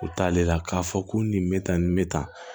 U t'ale la k'a fɔ ko nin bɛ tan nin bɛ tan